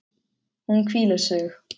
Hún hvílir sig.